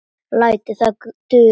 Lætur það duga.